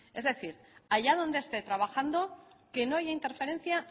es decir allá donde esté trabajando que no haya interferencia